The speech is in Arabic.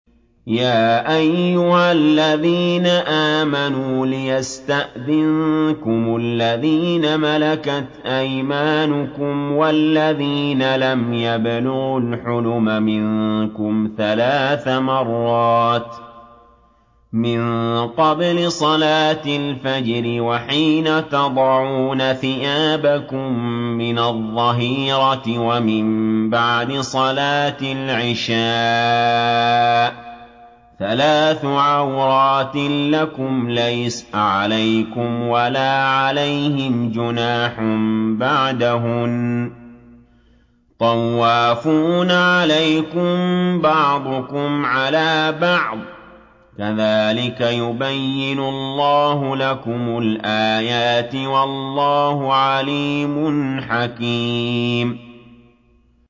يَا أَيُّهَا الَّذِينَ آمَنُوا لِيَسْتَأْذِنكُمُ الَّذِينَ مَلَكَتْ أَيْمَانُكُمْ وَالَّذِينَ لَمْ يَبْلُغُوا الْحُلُمَ مِنكُمْ ثَلَاثَ مَرَّاتٍ ۚ مِّن قَبْلِ صَلَاةِ الْفَجْرِ وَحِينَ تَضَعُونَ ثِيَابَكُم مِّنَ الظَّهِيرَةِ وَمِن بَعْدِ صَلَاةِ الْعِشَاءِ ۚ ثَلَاثُ عَوْرَاتٍ لَّكُمْ ۚ لَيْسَ عَلَيْكُمْ وَلَا عَلَيْهِمْ جُنَاحٌ بَعْدَهُنَّ ۚ طَوَّافُونَ عَلَيْكُم بَعْضُكُمْ عَلَىٰ بَعْضٍ ۚ كَذَٰلِكَ يُبَيِّنُ اللَّهُ لَكُمُ الْآيَاتِ ۗ وَاللَّهُ عَلِيمٌ حَكِيمٌ